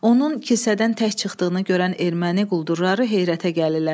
Onun kilsədən tək çıxdığını görən erməni quldurları heyrətə gəlirlər.